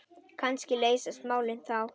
Kannski leysast málin þá.